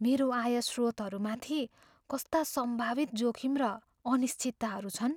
मेरो आय स्रोतहरूमाथि कस्ता सम्भावित जोखिम र अनिश्चितताहरू छन्?